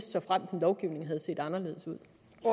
såfremt en lovgivning havde set anderledes ud